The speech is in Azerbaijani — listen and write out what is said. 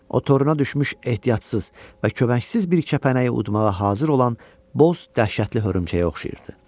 O toruna düşmüş ehtiyatsız və köməksiz bir kəpənəyi udmağa hazır olan boz, dəhşətli hörümçəyə oxşayırdı.